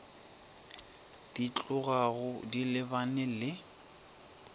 di tlogago di lebane le